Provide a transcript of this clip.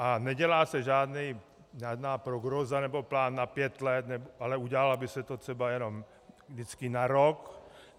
A nedělá se žádná prognóza nebo plán na pět let, ale udělalo by se to třeba jenom vždycky na rok.